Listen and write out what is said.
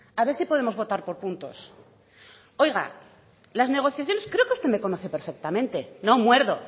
a ver si podemos votar por puntos oiga las negociaciones creo que usted me conoce perfectamente no muerdo